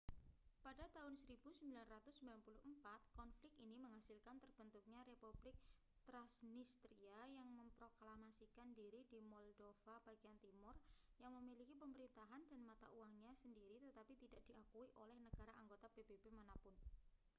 pada tahun 1994 konflik ini menghasilkan terbentuknya republik trasnistria yang memproklamasikan diri di moldova bagian timur yang memiliki pemerintahan dan mata uangnya sendiri tetapi tidak diakui oleh negara anggota pbb mana pun